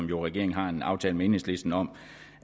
jo har en aftale med enhedslisten om